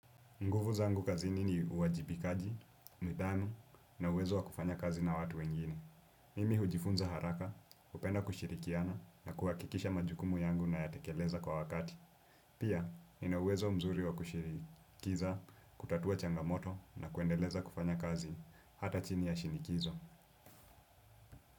Nguvu zangu kazini ni uwajibikaji, nidhamu na uwezo wakufanya kazi na watu wengine. Mimi hujifunza haraka, hupenda kushirikiana na kuhakikisha majukumu yangu na yatekeleza kwa wakati. Pia, nina uwezo mzuri wakushinikiza, kutatua changamoto na kuendeleza kufanya kazi hata chini ya shinikizo.